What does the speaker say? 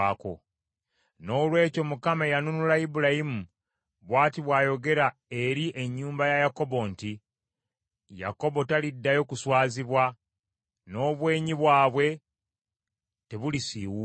Noolwekyo Mukama eyanunula Ibulayimu bw’ati bw’ayogera eri ennyumba ya Yakobo nti, Yakobo taliddayo kuswazibwa, n’obwenyi bwabwe tebulisiiwuuka.